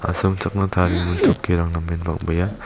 asongchakna tarigimin chokirang namen bang·bea.